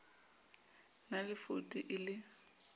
na le voutu e le